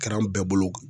Kɛra an bɛɛ bolo